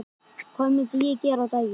Hvað myndi ég gera á daginn?